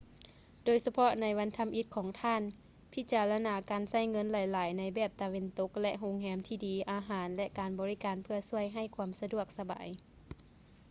ໂດຍສະເພາະໃນວັນທໍາອິດຂອງທ່ານ ພິຈາລະນາການໃຊ້ເງິນຫຼາຍໆໃນແບບຕາເວັນຕົກ ແລະ ໂຮງແຮມທີ່ດີ ອາຫານ ແລະ ການບໍລິການເພື່ອຊ່ວຍໃຫ້ຄວາມສະດວກສະບາຍ